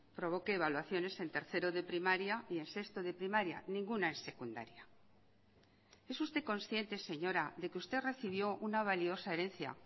provoque evaluaciones en tercero de primaria y en sexto de primaria ninguna en secundaria es usted consciente señora de que usted recibió una valiosa herencia